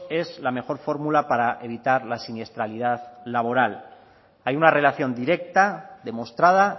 es la mejor fórmula para evitar la siniestralidad laboral hay una relación directa demostrada